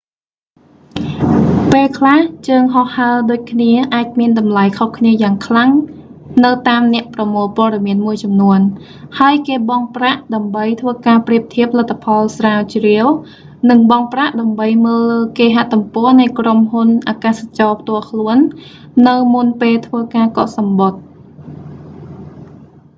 ពេលខ្លះ ជើងហោះហើរដូចគ្នាអាចមានតម្លៃខុសគ្នាយ៉ាងខ្លាំងនៅតាមអ្នកប្រមូលព័ត៌មានមួយចំនួន ហើយគេបង់ប្រាក់ដើម្បីធ្វើការប្រៀបធៀបលទ្ធផលស្រាវជ្រាវ និងបង់ប្រាក់ដើម្បីមើលលើគេហទំព័រនៃក្រុមហ៊ុនអាកាសចរផ្ទាល់ខ្លួន នៅមុនពេលធ្វើការកក់សំបុត្រ